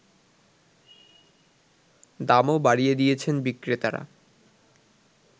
দামও বাড়িয়ে দিয়েছেন বিক্রেতারা